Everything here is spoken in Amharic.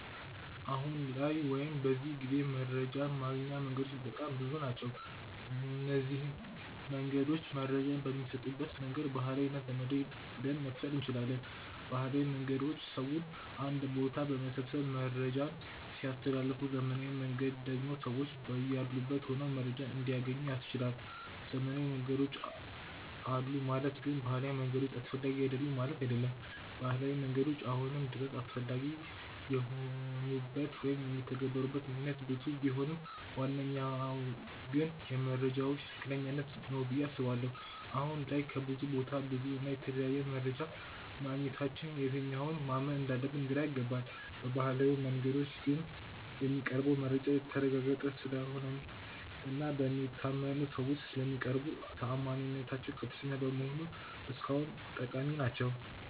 አሁን ላይ ወይም በዚህ ጊዜ መረጃን ማግኛ መንገዶች በጣም ብዙ ናቸው። እነዚንም መንገዶች መረጃ በሚሰጡበት መንገድ ባህላዊ እና ዘመናዊ ብለን መክፈል እንችላለን። ባህላዊ መንገዶች ሰውን አንድ ቦታ በመሰብሰብ መረጃን ሲያስተላልፉ ዘመናዊው መንገድ ደግሞ ሰዎች በያሉበት ሆነው መረጃን እንዲያገኙ ያስችላል። ዘመናዊ መንገዶች አሉ ማለት ግን ባህላዊ መንገዶች አስፈላጊ አይደሉም ማለት አይደለም። ባህላዊ መንገዶች አሁንም ድረስ አስፈላጊ የሆኑበት ወይም የሚተገበሩበት ምክንያት ብዙ ቢሆንም ዋነኛው ግን የመረጃዎች ትክክለኛነት ነው ብዬ አስባለሁ። አሁን ላይ ከብዙ ቦታ ብዙ እና የተለያየ መረጃ ማግኘታችን የትኛውን ማመን እንዳለብን ግራ ያጋባል። በባህላዊው መንገዶች ግን የሚቀርበው መረጃ የተረጋገጠ ስለሆነ እና በሚታመኑ ሰዎች ስለሚቀርቡ ተአማኒነታቸው ከፍተኛ በመሆኑ እስካሁን ጠቃሚ ናቸው።